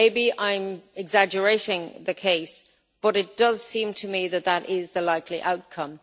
Perhaps I am exaggerating the case but it does seem to me that that is the likely outcome.